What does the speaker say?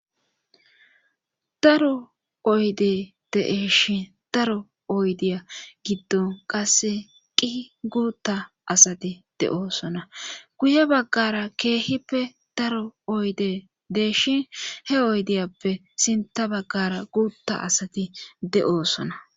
daro oyde deeshin daro oydiya giddon qasse qi guutta asati de7oosona guye baggara keehippe daro oyde deeshin he oydiyappe sinta baggara guutta asati de7oosona